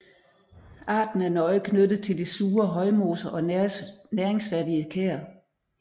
Arten er nøje knyttet til de sure højmoser og næringsfattige kær